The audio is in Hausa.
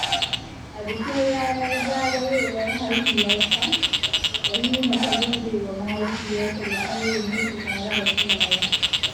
A bikin ranar zagayowar haihuwarta, Rahina ta gode wa mahaifiyarta da ta rene ta tare da kulawa.